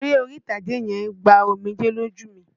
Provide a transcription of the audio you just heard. Eré orí-ìtàgé yẹn gba omijẹ́ lójú mi.